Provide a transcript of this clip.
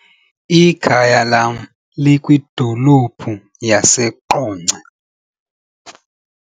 Ikhaya lam likwidolophu yaseQonce.